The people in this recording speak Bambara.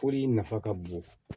Foli nafa ka bon